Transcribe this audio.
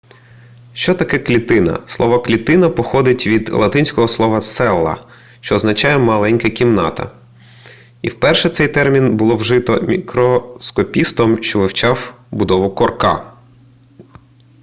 що таке клітина слово клітина походить від латинського слова cella що означає маленька кімната і вперше цей термін було вжито мікроскопістом що вивчав будову корка